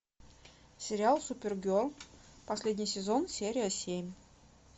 сериал супергерл последний сезон серия семь